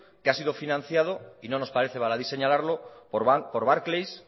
que ha sido financiado y no nos parece baladí señalarlo por barclay